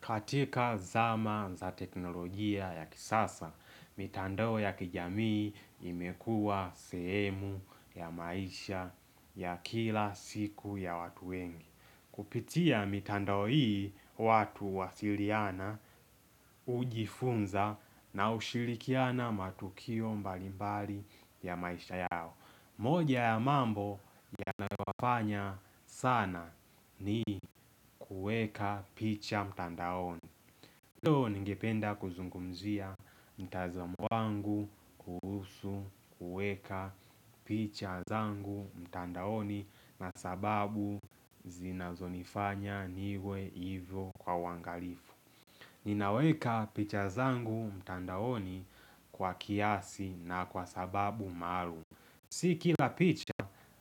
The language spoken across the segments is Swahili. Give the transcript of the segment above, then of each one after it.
Katika zama za teknolojia ya kisasa, mitandoo ya kijamii imekua semu ya maisha ya kila siku ya watu wengi. Kupitia mitandoo hii watu wasiriana, hujifunza na ushirikiana matukio mbalimbali ya maisha yao. Moja ya mambo yanayowafanya sana ni kueka picha mtandaoni. Ndiyo ningependa kuzungumzia mtazamo mwangu kuhusu uweka picha zangu mtandaoni na sababu zinazo nifanya niwe hivyo kwa wangalifu. Ninaweka picha zangu mtandaoni kwa kiasi na kwa sababu maalum. S kila picha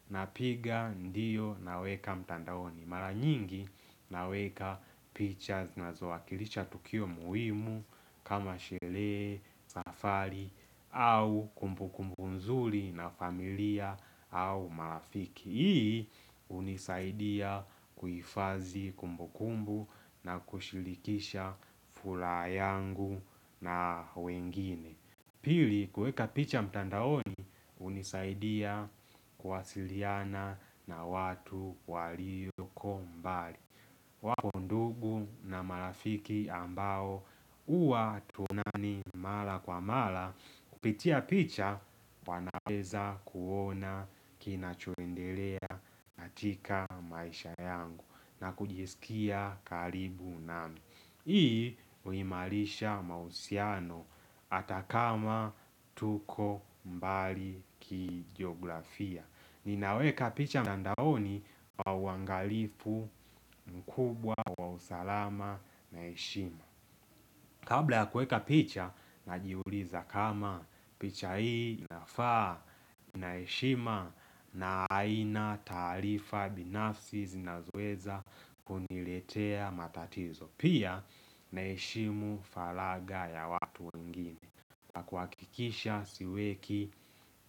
na piga ndiyo na weka mtandaoni. Mara nyingi na weka picha zinazowakilisha tukio muhimu kama shele, safari au kumbukumbunzuli na familia au marafiki. Hii unisaidia kuifazi kumbukumbu na kushilikisha fulaha yangu na wengine Pili kueka picha mtandaoni unisaidia kuwasiliana na watu walioko mbali. Wapo ndugu na marafiki ambao uwa hatuonani mala kwa mala Kupitia picha wanaweza kuona kinachoendelea katika maisha yangu na kujisikia karibu nami Hii uimalisha mausiano atakama tuko mbali kijiografia Ninaweka picha mtandaoni wa uangalifu mkubwa wa usalama na ishima Kabla ya kueka picha na jiuliza kama picha hii inafaa ina heshima na aina tarifa binafsi zinazoweza kuniletea matatizo Pia naheshimu falaga ya watu wengine kwa kikisha siweki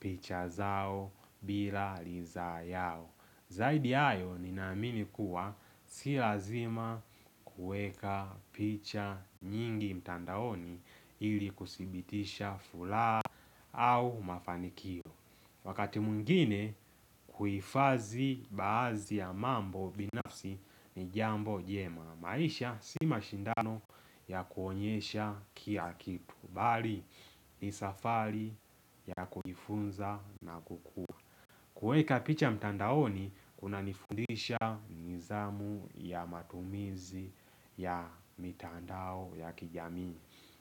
picha zao bila liza yao Zaidi ayo ninaamini kuwa si lazima kueka picha nyingi mtandaoni ili kusibitisha fulaa au mafanikio Wakati mungine kuifazi baazi ya mambo binafsi ni jambo jema maisha si mashindano ya kuonyesha kia kipu Bali ni safari ya kujifunza na kukua Kweka picha mtandaoni, kuna nifundisha nizamu ya matumizi ya mitandao ya kijamii.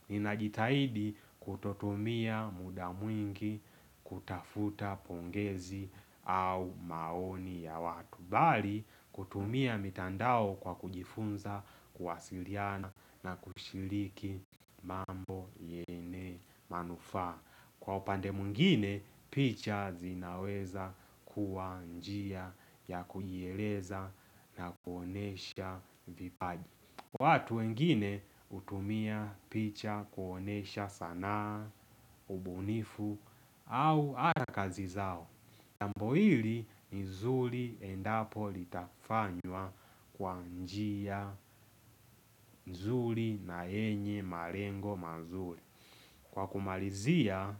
Nina jitahidi kutotumia muda mwingi kutafuta pongezi au maoni ya watu. Bali, kutumia mtandao kwa kujifunza, kuwasiliana na kushiliki mambo yene manufaa. Kwa upande mwingine, picha zinaweza kuwa njia ya kuiereza na kuonesha vipaji. Watu wengine utumia picha kuonesha sanaa, ubunifu au ata kazi zao. Jambo hili nzuri endapo litafanywa kwa njia nzuri na yenye marengo mazuri. Kwa kumalizia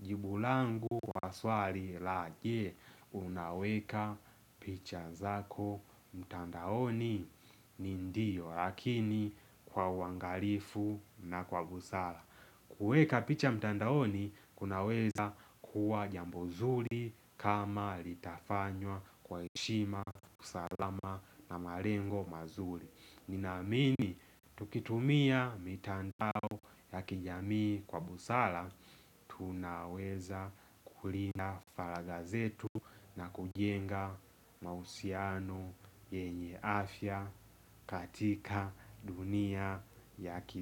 jibu langu wa swali la je unaweka picha zako mtandaoni ni ndiyo lakini kwa wangalifu na kwa gusala. Kueka picha mtandaoni kunaweza kuwa jambo nzuri kama litafanywa kwa heshima usalama na marengo mazuri. Ninamini tukitumia mitandao ya kijamii kwa busala Tunaweza kulinda faragazetu na kujenga mausiano yenye afya katika dunia ya ki.